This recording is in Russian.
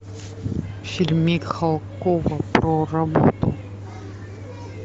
фильм михалкова про работу